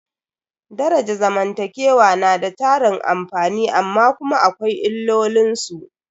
Daraja zamantakewa na da tarin amfani amma kuma akwai illolin su.